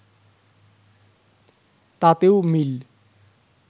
তাতেও মিল